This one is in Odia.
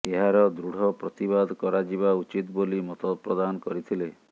ଏହାର ଦୃଢ଼ ପ୍ରତିବାଦ କରାଯିବା ଉଚିତ ବୋଲି ମତ ପ୍ରଦାନ କରିଥିଲେ